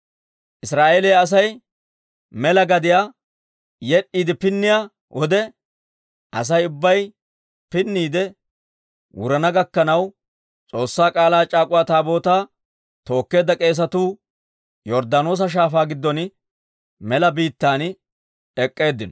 Israa'eeliyaa Asay mela gadiyaa yed'd'iide pinniyaa wode, Asay ubbay pinniide wurana gakkanaw S'oossaa K'aalaa c'aak'uwa Taabootaa tookkeedda k'eesatuu Yorddaanoosa Shaafaa giddon mela biittan ek'k'eeddinno.